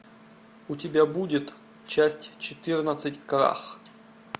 у тебя будет часть четырнадцать крах